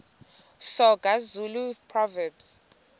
soga zulu proverbs